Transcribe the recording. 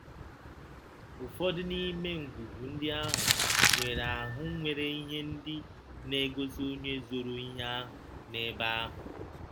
Ụfọdụ n’ime ngwugwu ndị ahụ nwere ahụ nwere ihe ndị na-egosi onye zoro ihe ahụ n’ebe ahụ.